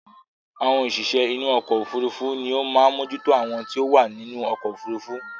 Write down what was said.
Àwọn òṣìṣẹ́ inú ọkọ̀ òfurufú ní ó máa ń mójú tó àwọn tí ó wà nínú ọkọ̀ òfurufú